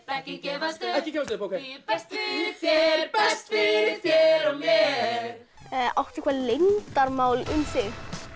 ekki gefast upp ég berst fyrir þér berst fyrir þér og mér áttu eitthvað leyndarmál um þig